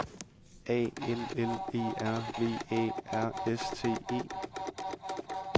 A L L E R V Æ R S T E